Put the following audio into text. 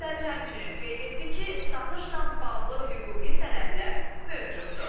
Sədr həmçinin qeyd etdi ki, satışla bağlı hüquqi sənədlər mövcuddur.